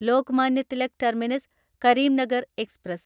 Lokmanya Tilak terminus Karimnagar express